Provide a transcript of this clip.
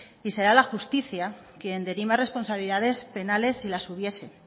y será la justicia quien dirima responsabilidades penales si las hubiese